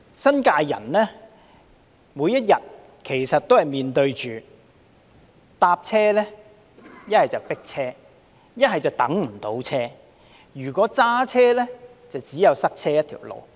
新界居民每天搭車，要麼就"迫車"，要麼就等不到車，而如果駕車，就只有塞車一條路。